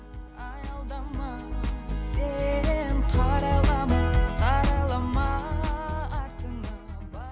аялдама сен қарайлама қарайлама артыңа